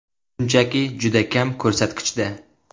Shunchaki, juda kam ko‘rsatkichda.